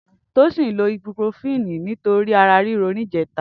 Tosin ló ibúprófini nitóri àrá riró nijẹ̀tá